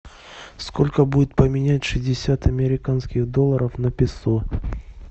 сколько будет поменять шестьдесят американских долларов на песо